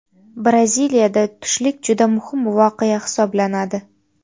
Braziliyada tushlik juda muhim voqea hisoblanadi.